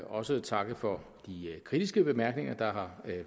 også takke for de kritiske bemærkninger der har